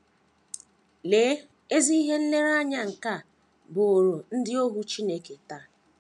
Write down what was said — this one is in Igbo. Lee ezi ihe nlereanya nke a bụụrụ ndị ohu Chineke taa!